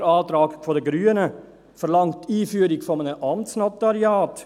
Der Antrag der Grünen verlangt die Einführung des Amtsnotariats.